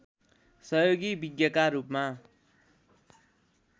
सहयोगी विज्ञका रूपमा